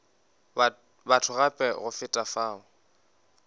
batho gape go feta fao